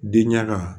Den ɲaga